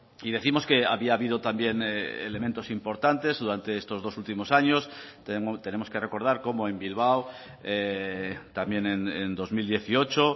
y décimos que había habido también elementos importantes durante estos dos últimos años tenemos que recordar cómo en bilbao también en dos mil dieciocho